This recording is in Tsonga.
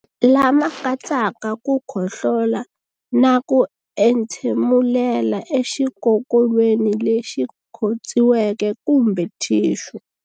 Lama katsaka ku khohlola na ku entshemulela exikokolweni lexi khotsiweke kumbe thixu.